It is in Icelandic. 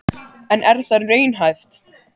En er það raunhæft?